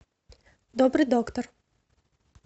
добрый доктор